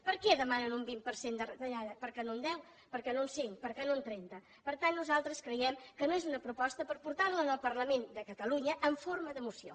per què demanen un vint per cent de retallada per què no un deu per què no un cinc per què no un trenta per tant nosaltres creiem que no és una proposta per portar la al parlament de catalunya en forma de moció